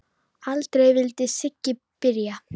Aldrei vildi Siggi byrja.